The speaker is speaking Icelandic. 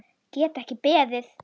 Get ekki beðið.